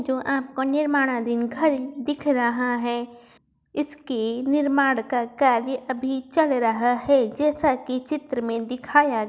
जो आप को निर्माणदिन घर दिख रहा है इसके निर्माण का कार्य अभी चल रहा है जैसा कि चित्र में दिखाया --